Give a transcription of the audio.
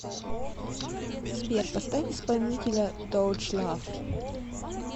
сбер поставь исполнителя тоуч лав